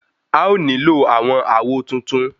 A ó nílò àwọn àwo tuntun.